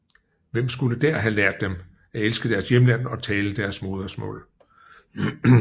Hvem skulle der have lært dem at elske deres hjemland og tale deres modermål